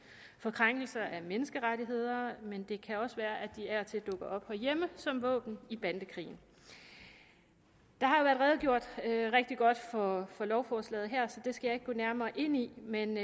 for krænkelser af menneskerettigheder men det kan også være at de af og til dukker op herhjemme som våben i bandekrigen der har været redegjort rigtig godt for lovforslaget her så det skal jeg ikke gå nærmere ind i men